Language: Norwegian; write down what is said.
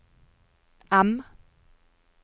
M